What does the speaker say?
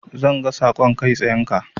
Zan ga saƙon kai tsayenka.